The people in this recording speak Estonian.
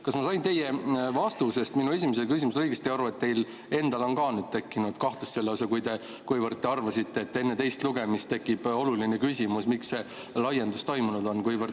Kas ma sain teie vastusest minu esimesele küsimusele õigesti aru, et teil endal on ka nüüd tekkinud kahtlus selles, kuivõrd te arvasite, et enne teist lugemist tekib oluline küsimus, miks see laiendus on toimunud?